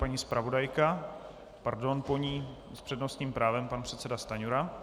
Paní zpravodajka, pardon, po ní s přednostním právem pan předseda Stanjura.